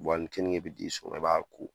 a ni kenige bɛ t'i sɔrɔ i b'a ko.